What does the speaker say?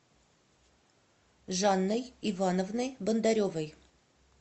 жанной ивановной бондаревой